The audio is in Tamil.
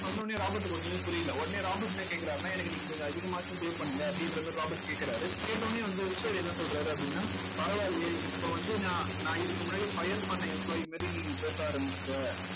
சொன்ன உடனே ராபர்ட்டுக்கு ஒண்ணுமே புரியல உடனே ராபர்ட் என்ன கேக்குறாருன்னா எனக்கு நீங்க கொஞ்சம் அதிகமாச்சும் pay பண்ணுங்க அப்படின்ற மாதிரி ராபர்ட் கேக்குறாரு கேட்ட உடனே வந்து rich dad என்ன சொல்றாரு அப்படின்னா பரவாயில்லையே இப்ப வந்து நான் நான் இதுக்கு முன்னாடி fire பண்ண employee மாதிரி நீ பேச ஆரம்பிச்சிட்ட